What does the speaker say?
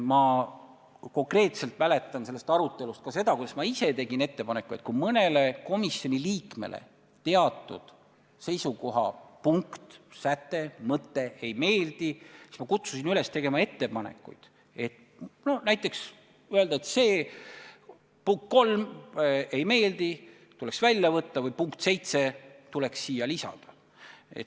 Ma konkreetselt mäletan sellest arutelust ka seda, kuidas ma ise tegin ettepaneku, et kui mõnele komisjoni liikmele seisukoha teatud punkt, säte, mõte ei meeldi, siis tehtagu ettepanekuid, näiteks öeldagu, et 3. punkt ei meeldi ja see tuleks välja võtta või et 7. punkt tuleks lisada.